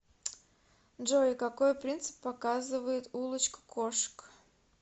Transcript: джой какой принцип показывает улочка кошек